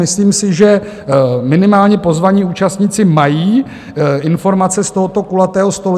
Myslím si, že minimálně pozvaní účastníci mají informace z tohoto kulatého stolu.